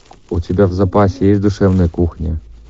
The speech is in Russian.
у тебя в запасе есть душевная кухня